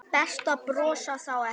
Best að brosa þá ekki.